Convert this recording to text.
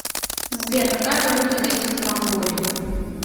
сбер какая валюта действует в монголии